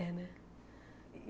É, né?